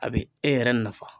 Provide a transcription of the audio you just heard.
A bi e yɛrɛ nafa.